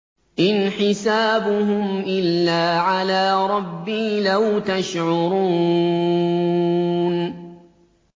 إِنْ حِسَابُهُمْ إِلَّا عَلَىٰ رَبِّي ۖ لَوْ تَشْعُرُونَ